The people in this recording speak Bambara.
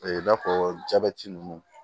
i n'a fɔ jabɛti nunnu